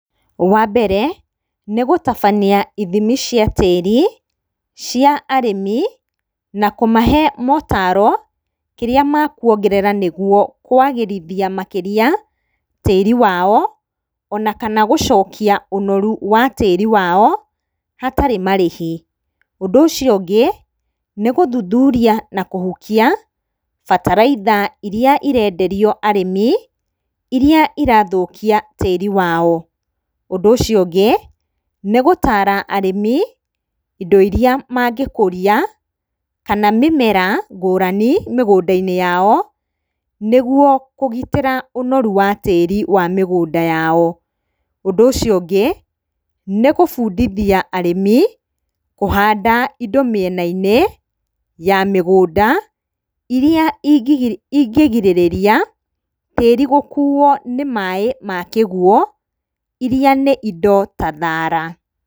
Wa mbere, nĩgũtabania ithimi cia tĩri cia arĩmi na kũmahe maũtaro kĩrĩa mekuongerera, nĩguo kwagĩrithia makĩria tĩri wao, ona kana gũcokia ũnoru wa tĩri waao hatarĩ marĩhi. Ũndũ ũcio ũngĩ, nĩgũthuthuria na kũhukia bataraitha irĩa irenderio arĩmi, irĩa irathũkia tĩri wao. Ũndũ ũcio ũngĩ nĩgũtara arĩmi indo irĩa mangĩkũria kana mĩmera ngũrani mĩgũnda-inĩ yao, nĩguo kũgitĩra ũnoru wa tĩri wa mĩgũnda yao. Ũndũ ũcio ũngĩ nĩ gũbundithia arĩmi kũhanda indo mĩena-inĩ ya mĩgũnda, iria ingĩgirĩrĩria tĩri gũkuo nĩ maaĩ ma kĩguũ, irĩa nĩ indo ta thara.